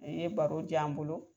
I ye baro ja an bolo.